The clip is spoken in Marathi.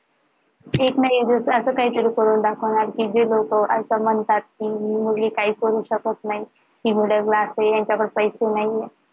एक ना एक दिवस असं काही तरी करून दाखवणार कि जे लोक असं म्हणतात कि मुली काही करू शकत नाही ते middle class नाही आहे का पैसे नाही आहे